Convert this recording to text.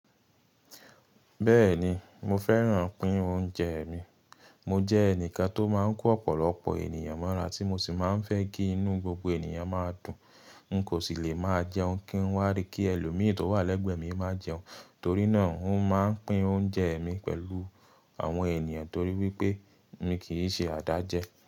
Bẹ́ẹ̀ni mo fẹ́ràn pín oúnjẹ mi. Mo jẹ́ ẹnìkan tó máa ń kó ọ̀pọ̀lọpọ̀ ènìyàn mọ́ra tí mo sì máa ń fẹ́ kí inú gbogbo ènìyàn máa dùn. N kò sì lè máa jẹun kí n wá rí kí ẹlòmíì tó wà lẹ́gbẹ̀ẹ́ mi máa jẹun, torí náà n ó máa ń pín oúnjẹ mi pẹ̀lú àwọn ènìyàn torí wípé mi kì í ṣe adájẹ́